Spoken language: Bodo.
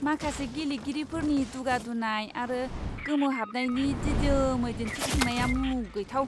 माखासे गेलेगिरिफोरनि दुगा दुनाय आरो गोमोहाबनायनि दिदोमै दिनथिफुंनाया मुगैथाव!